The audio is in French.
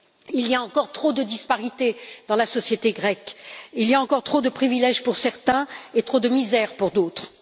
Il y a encore trop de disparités dans la société grecque, il y a encore trop de privilèges pour certains et trop de misère pour d'autres.